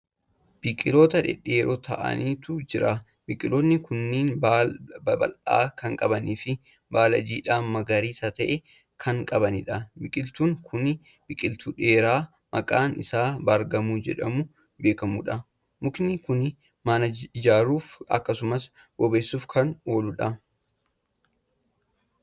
Biqiltoota dhedheeroo ta'anitu jira. biqiltoonni kunniin baala babal'aa Kan qabaniifi baala jiidhaa magariisa ta'e Kan qabaniidha. biqiltuun Kuni biqiltuu dheeraa maqaan Isaa Baargamoo jedhamuun beekamuudha. mukni Kuni mana ijaaruuf akkasumas bobeessuuf Kan ooludha.